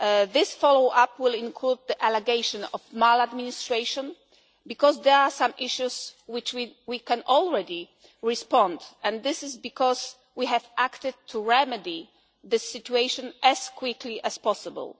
Cañete. This follow up will include the allegation of maladministration, because there are some issues to which we can already respond, and this is because we have acted to remedy this situation as quickly as possible.